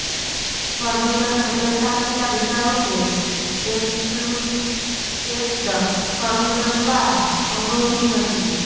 furniture ખસેડતા પહેલાં વિચારો કે એક્સક્લૂઝ સ્ટેક્ડ ફર્નિચર દ્વારા અવરોધિત નથી